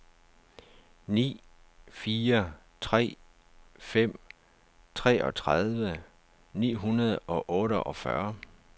ni fire tre fem treogtredive ni hundrede og otteogfyrre